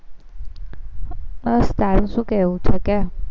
બસ તારે શું કેવું છે, કે